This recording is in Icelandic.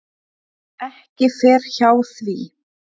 Ekki fer hjá því.